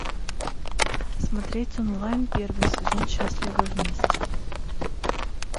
смотреть онлайн первый сезон счастливы вместе